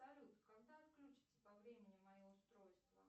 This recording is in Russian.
салют когда отключится по времени мое устройство